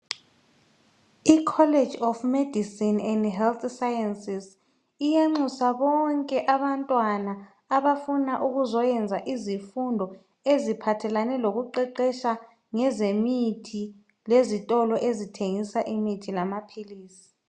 I"College of medicine and Health sciences " iyanxusa bonke abantwana abafuna ukuzoyenza izifundo eziphathelane lokuqeqesha ngezemithi lezitolo ezithengisa imithi lamaphilisi.